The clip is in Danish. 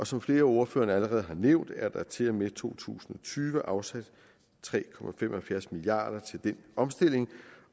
som flere af ordførerne allerede har nævnt er der til og med to tusind og tyve afsat tre milliard kroner til den omstilling